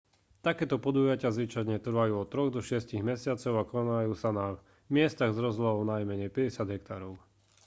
takéto podujatia zvyčajne trvajú od troch do šiestich mesiacov a konajú sa na miestach s rozlohou najmenej 50 hektárov